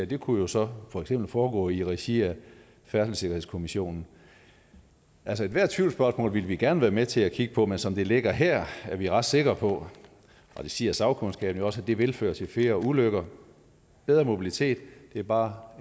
det kunne jo så for eksempel foregå i regi af færdselssikkerhedskommissionen ethvert tvivlsspørgsmål vil vi gerne være med til at kigge på men som det ligger her er vi ret sikre på og det siger sagkundskaben jo også at det vil føre til flere ulykker bedre mobilitet har bare